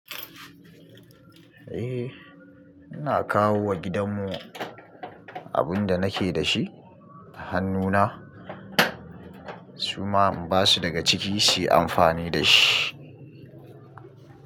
Eh, ina kawo wa gidan mu abun da nake da shi, hannu na, su ma in ba su daga ciki su yi amfani da shi.